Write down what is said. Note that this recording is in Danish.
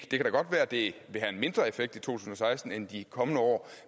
det kan da godt være at det vil have en mindre effekt i to tusind og seksten end i de kommende år